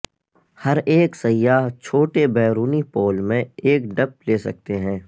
ہر ایک سیاح چھوٹے بیرونی پول میں ایک ڈپ لے سکتے ہیں